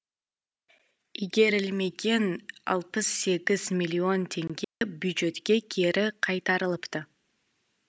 игерілмеген алпыс сегіз миллион теңге бюджетке кері қайтарылыпты